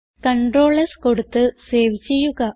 Ctrl S കൊടുത്ത് save ചെയ്യുക